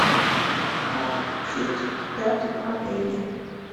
как учить даты правления